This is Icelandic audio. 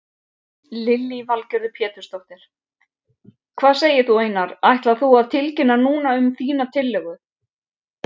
Lillý Valgerður Pétursdóttir: Hvað segir þú Einar, ætlar þú að tilkynna núna um þína tillögu?